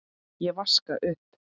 Ég vaska upp.